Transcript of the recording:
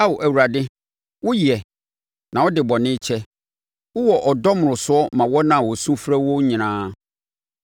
Ao Awurade, woyɛ, na wode bɔne kyɛ, wowɔ ɔdɔ mmorosoɔ ma wɔn a wɔsu frɛ wo nyinaa.